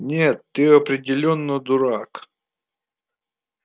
нет ты определённо дурак